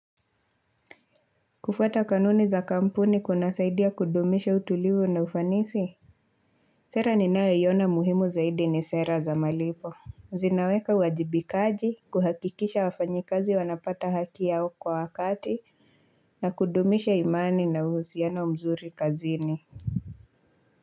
Kufuata kanuni za kampuni kunasaidia kudumisha utulivu na ufanisi Sera ninayoiona muhimu zaidi ni sera za malipo. Zinaweka wajibikaji kuhakikisha wafanyi kazi wanapata haki yao kwa wakati na kudumisha imani na uhusiano mzuri kazini.